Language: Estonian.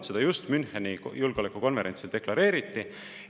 Seda just Müncheni julgeolekukonverentsil deklareeriti.